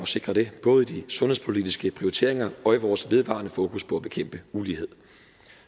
sikre det både i de sundhedspolitiske prioriteringer og i vores vedvarende fokus på at bekæmpe ulighed